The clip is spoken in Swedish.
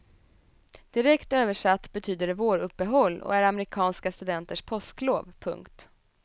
Direkt översatt betyder det våruppehåll och är amerikanska studenters påsklov. punkt